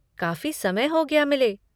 काफ़ी समय हो गया मिले।